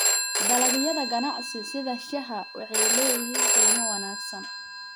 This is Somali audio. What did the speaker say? Dalagyada ganacsi sida shaaha waxay leeyihiin qiimo wanaagsan.